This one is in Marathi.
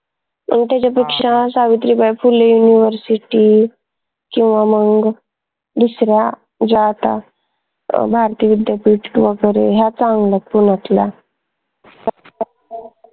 त्याच्यापेक्षा सावित्रीबाई फुले university किंवा मंग दुसऱ्या ज्या आता भारतीय विद्यापीठ वगैरे ह्या चांगल्या पुण्यातल्या